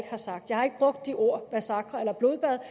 har sagt jeg har ikke brugt de ord massakre eller blodbad